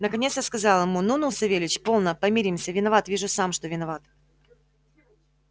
наконец я сказал ему ну ну савельич полно помиримся виноват вижу сам что виноват